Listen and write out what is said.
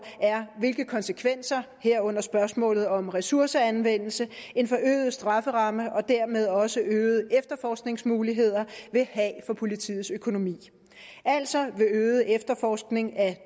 er hvilke konsekvenser herunder spørgsmålet om ressourceanvendelse en øget strafferamme og dermed også øgede efterforskningsmuligheder vil have for politiets økonomi altså om øget efterforskning af